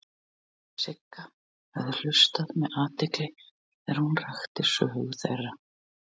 Sigga höfðu hlustað með athygli þegar hún rakti sögu þeirra.